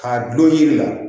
K'a dulon yiri la